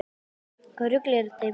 Hvaða rugl er þetta í manneskjunni?